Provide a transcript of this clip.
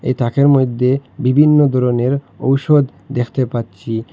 তাকের মইধ্যে বিভিন্ন ধরনের ঔষধ দেখতে পাচ্ছি।